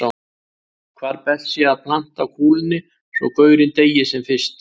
Hvar best sé að planta kúlunni svo gaurinn deyi sem fyrst.